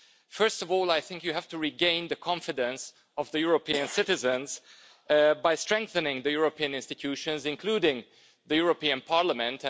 First of all, I think you have to regain the confidence of the European citizens by strengthening the European institutions, including the European Parliament.